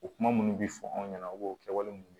O kuma minnu bɛ fɔ anw ɲɛna u b'o kɛwale minnu